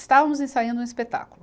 Estávamos ensaiando um espetáculo.